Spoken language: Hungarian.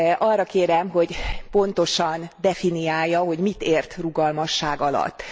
Arra kérem, hogy pontosan definiálja, hogy mit ért rugalmasság alatt.